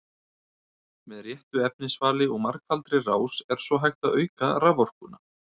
með réttu efnisvali og margfaldri rás er svo hægt að auka raforkuna